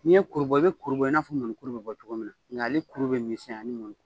N ye kuru bɔ i bɛ kuru bɔ in n'a fɔ mɔnikuru bɛ bɔ cogo min nka ale kuru bɛ misɛnya ni mɔni